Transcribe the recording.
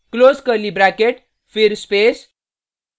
close curly bracket फिर space